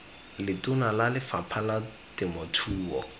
letona la lefapha la temothuo